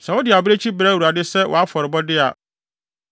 “ ‘Sɛ wode abirekyi brɛ Awurade sɛ wʼafɔrebɔde a,